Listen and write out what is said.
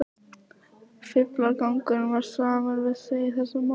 Fíflagangurinn var samur við sig í þessu máli.